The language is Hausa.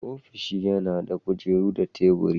Ofishi yana da kujera da taburi.